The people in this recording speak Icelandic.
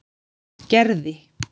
Gerði